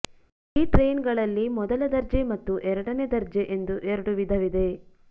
ಈ ಟ್ರೈನ್ಗಳಲ್ಲಿ ಮೊದಲ ದರ್ಜೆ ಮತ್ತು ಎರಡನೆ ದರ್ಜೆ ಎಂದು ಎರಡು ವಿಧವಿದೆ